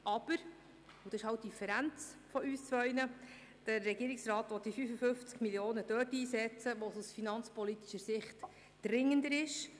Aber – und das ist die Differenz zwischen und beiden – der Regierungsrat will die 55 Mio. Franken dort einsetzen, wo es aus finanzpolitischer Sicht dringender ist.